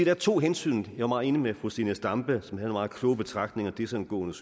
er to hensyn og enig med fru zenia stampe som jeg meget kloge betragtninger desangående